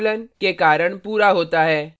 हम method को class से access कर सकते हैं